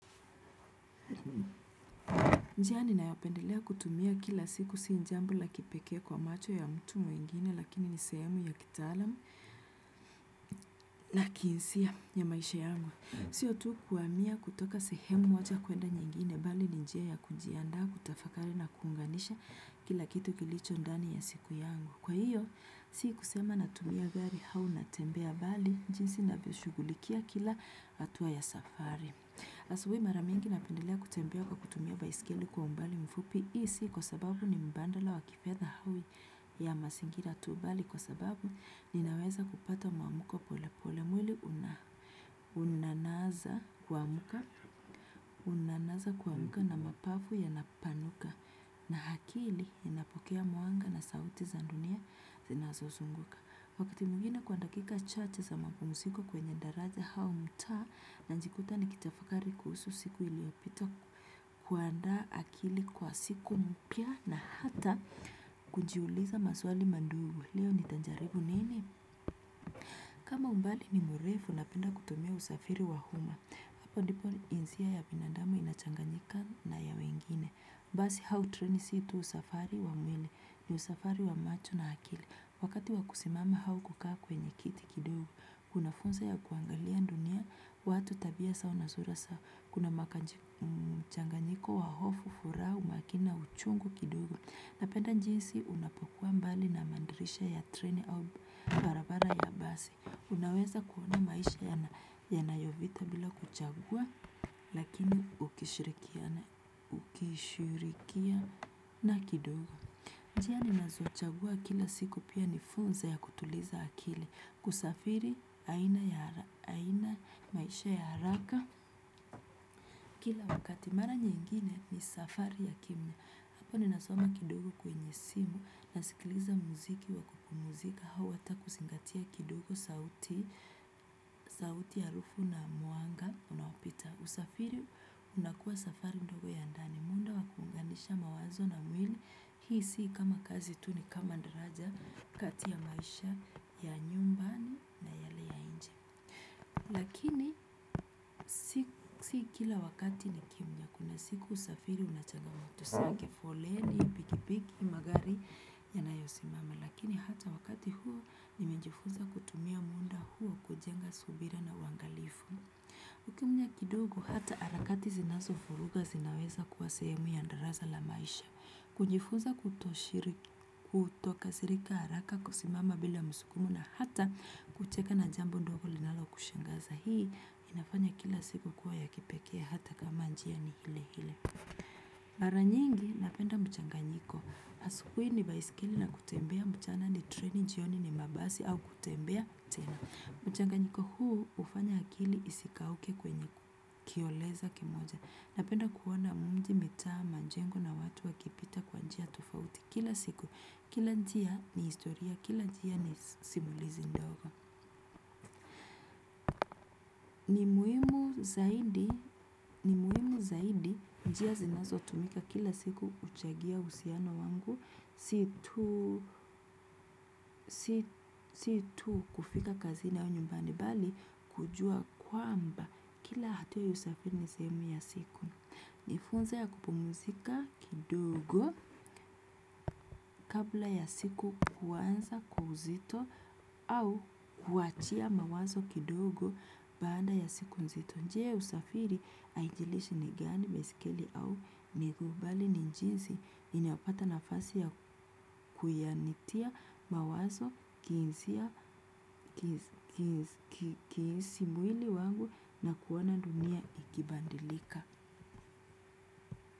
Njia ninayopendelea kutumia kila siku si jambo la kipekee kwa macho ya mtu mwingine lakini ni sehemu ya kitaalam na kihisia ya maisha yangu. Sio tu kuhamia kutoka sehemu moja kuenda nyingine bali ni njia ya kujiandaa kutafakari na kuunganisha kila kitu kilicho ndani ya siku yangu. Kwa hiyo, si kusema natumia gari au natembea bali, jinsi ninavyoshughulikia kila hatua ya safari. Asubuhi mara mingi napendelea kutembea kwa kutumia baiskeli kwa umbali mfupi hii si kwa sababu ni mbandala wa kifedha au ya mazingira tu bali kwa sababu ninaweza kupata muamko pole pole mwili unaanza kuamka na mapafu yanapanuka na akili inapokea mwanga na sauti za dunia zinazozunguka. Wakati mwingine kwa dakika chache za mapumziko kwenye daraja au mtaa najikuta nikitafakari kuhusu siku iliyopita kuandaa akili kwa siku mpya na hata kujiuliza maswali madogo. Leo nitajaribu nini? Kama umbali ni mrefu napenda kutumia usafiri wa umma. Hapo ndipo jinsia ya binadamu inachanganyika na ya wengine. Basi au treni si tu usafiri wa mwene ni usafiri wa macho na akili. Wakati wa kusimama au kukaa kwenye kiti kidogo, kuna fursa ya kuangalia dunia, watu tabia zao na sura zao, kuna mchanganyiko, wa hofu, furaha, umakini, na uchungu kidogo. Napenda jinsi unapokuwa mbali na madirisha ya treni au barabara ya basi. Unaweza kuona maisha yanayopita bila kuchagua, lakini ukishirikiana kidogo. Njia ninazochagua kila siku pia ni fursa ya kutuliza akili kusafiri aina ya maisha ya haraka. Kila wakati mara nyingine ni safari ya kimya. Hapo ninasoma kidogo kwenye simu nasikiliza muziki wa kupumzika au hata kuzingatia kidogo sauti harufu na mwanga unaopita. Usafiri unakua safari ndogo ya ndani. Ni muda wa kuunganisha mawazo na mwili. Hii si kama kazi tu ni kama daraja kati ya maisha ya nyumbani. Lakini si kila wakati ni kimya. Kuna siku usafiri unachagua matatu za kifoleni, pikipiki, magari yanayosimama. Lakini hata wakati huo nimejifunza kutumia muda huo kujenga subira na uangalifu. Ukimya kidogo hata harakati zinazofuvuga zinaweza kuwa sehemu ya darasa la maisha. Kujifunza kutokasirika haraka kusimama bila msukumo na hata kucheka na jambo ndogo linalokushangaza hii inafanya kila siku kuwa ya kipekee hata kama njia ni hile hile. Mara nyingi napenda mchanganyiko asubuhi ni baiskeli na kutembea mchana ni treni jioni ni mabasi au kutembea tena. Mchanganyiko huu hufanya akili isikauke kwenye kioleza kimoja napenda kuona mji mitaa majengo na watu wakipita kwenye njia tofauti kila siku. Kila njia ni historia, kila njia ni simulizi ndogo. Ni muhimu zaidi, ni muhimu zaidi njia zinazotumika kila siku huchangia uhusiano wangu si tu. Si tu kufika kazini au nyumbani bali kujua kwamba kila hatua ya usafiri ni sehemu ya siku. Ni funzo ya kupumuzika kidogo kabla ya siku kuanza kwa uzito au kuachia mawazo kidogo baada ya siku nzito. Njia usafiri haijilishi ni gani baiskeli au miguu bali ni jinsi inayopata nafasi ya kunitia mawazo nikihisi mwili wangu na kuona dunia ikibadilika.